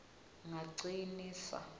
ngacinisa